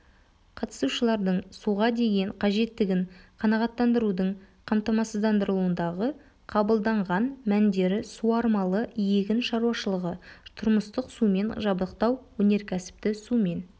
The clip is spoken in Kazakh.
қатысушылардың суға деген қажеттігін қанағаттандырудың қамтамасыздандырылуындағы қабылданған мәндері суармалы егін шаруашылығы тұрмыстық сумен жабдықтау өнеркәсіпті сумен